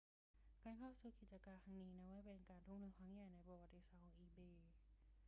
การเข้าซื้อกิจการครั้งนี้นับว่าเป็นการทุ่มทุนครั้งใหญ่ที่สุดในประวัติศาสตร์ของ ebay